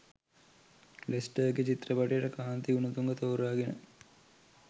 ලෙස්ටර්ගෙ චිත්‍රපටයට කාන්ති ගුණතුංග තෝරාගෙන